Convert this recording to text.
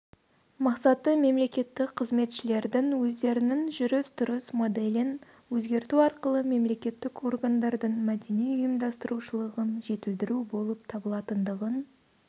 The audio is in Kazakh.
мақсаты мемлекеттік қызметшілердің өздерінің жүріс-тұрыс моделін өзгерту арқылы мемлекеттік органдардың мәдени ұйымдастырушылығын жетілдіру болып табылатындығын